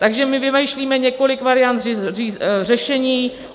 Takže my vymýšlíme několik variant řešení.